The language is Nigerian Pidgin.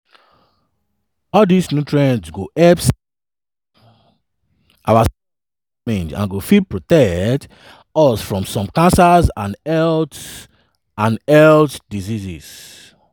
all dis nutrients go help save our cells from damage and go fit protect us from some cancers and health and health diseases.